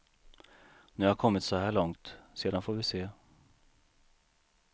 Nu har jag kommit så här långt, sedan får vi se.